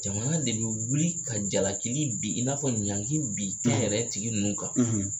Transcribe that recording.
Jamana de bi wili ka jalaki bi, i n'a fɔ ɲanki bin kɛyɛrɛ ye tigi ninnu kan